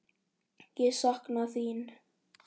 Ég sakna þín.